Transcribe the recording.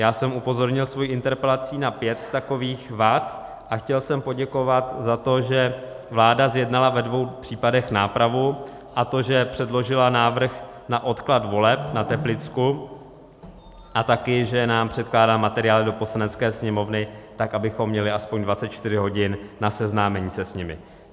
Já jsem upozornil svou interpelací na pět takových vad a chtěl jsem poděkovat za to, že vláda zjednala ve dvou případech nápravu, a to, že předložila návrh na odklad voleb na Teplicku a také že nám předkládá materiály do Poslanecké sněmovny tak, abychom měli aspoň 24 hodin na seznámení se s nimi.